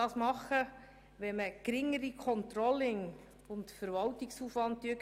Dies könne man unter anderem tun, indem man das Controlling und den Verwaltungsaufwand reduziere.